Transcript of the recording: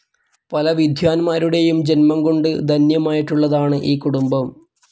പല വിദ്വാൻമാരുടെയും ജന്മംകൊണ്ട് ധന്യമായിട്ടുള്ളതാണ് ഈ കുടുംബം.